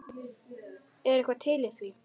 Er eitthvað til í því?